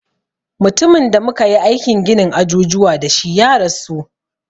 Mutumin da muka yi aikin ginin ajujuwa da shi ya rasu